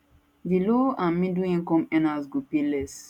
di low and middle income earners go pay less